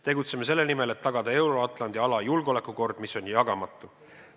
Tegutseme selle nimel, et tagada Euro-Atlandi ala julgeolekukord, mis on jagamatu.